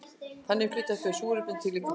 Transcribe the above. þannig flytja þau súrefnis um líkamann